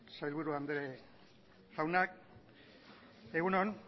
sailburu jaun andreok egun on